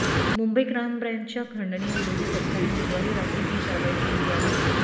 Mumbai crime ब्रँचच्या खंडणीविरोधी पथकाने बुधवारी रात्री ही कारवाई केली आहे